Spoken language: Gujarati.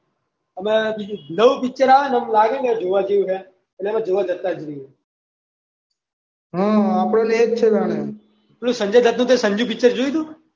નવુ પિક્ચર આવે ને એમ લાગે ને જોવા જેવું છે એટલે આપણે જોવા જતા જ રહીએ. હ અ. આપણે એ જ છે સંજયદત નું પેલું સંજુ પિક્ચર જોયું હતું?